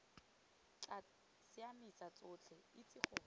tla siamisa tsotlhe itse gore